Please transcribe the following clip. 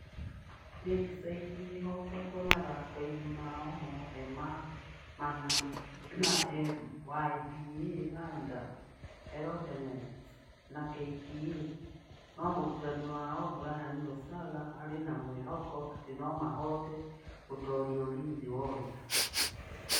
Lakeside nĩ ĩhootetwo mathako-inĩ mao mothe mana na EMYBA, Thunder, Eldonets na KPA no mũrutani wao Brian Lusaga arĩ na mwĩhoko atĩ no mahote gũtooria Ulinzi Warriors.